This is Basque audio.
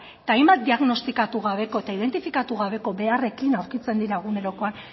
eta hainbat diagnostikatu gabeko eta identifikatu gabeko beharrekin aurkitzen dira egunerokoan